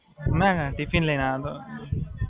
હાં, જમીને આયો.